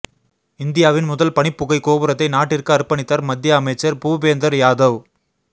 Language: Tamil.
இந்தியாவின் முதல் பனிப்புகை கோபுரத்தை நாட்டிற்கு அர்ப்பணித்தார் மத்திய அமைச்சர் புபேந்தர் யாதவ்